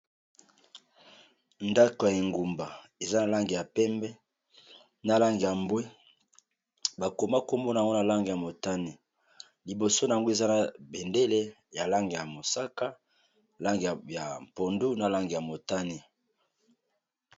ndako ya engumba eza na lange ya pembe na lange ya mbwe bakoma kombona nwana lange ya motani liboso n yango eza na bendele ya lange ya mosaka lange ya pondu na lange ya motani